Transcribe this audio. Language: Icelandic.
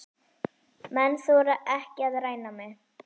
Menn þora ekki að ræna mig.